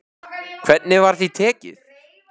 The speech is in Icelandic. Hvernig var því tekið?